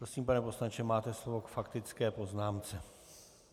Prosím, pane poslanče, máte slovo k faktické poznámce.